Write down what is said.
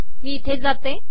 मी येथे जाते